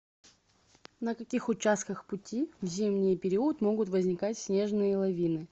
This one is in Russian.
на каких участках пути в зимний период могут возникать снежные лавины